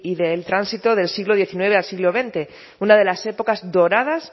del tránsito del siglo diecinueve al siglo veinte una de las épocas doradas